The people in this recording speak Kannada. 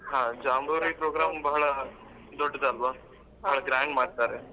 ಹಾ ಜಾಂಬೂರಿ program ಬಹಳ ದೊಡ್ಡದಲ್ವಾ ತುಂಬಾ grand ಮಾಡ್ತಾರೆ.